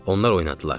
Onlar oynadılar.